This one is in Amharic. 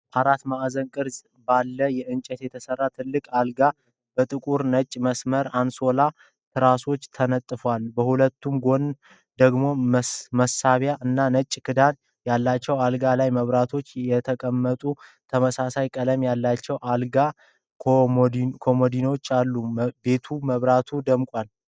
አራት ማዕዘን ቅርፅ ባለው እንጨት የተሰራ ትልቅ፣ አልጋው በጥቁርና ነጭ መስመር አንሶላና ትራሶች ተነጥፏል፣ በሁለቱም ጎን ደግሞ መሳቢያ እና ነጭ ክዳን ያላቸው የአልጋ ላይ መብራቶች የተቀመጡበት ተመሳሳይ ቀለም ያላቸው የአልጋ ኮመዲኖዎች አሉ። ቤቱ በመብራቶች ደምቋል።